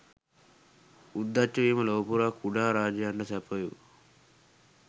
උද්දච්ච වීම ලොව පුරා කුඩා රජයනට සැපයු